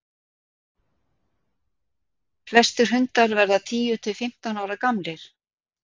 flestir hundar verða tíu til fimmtán ára gamlir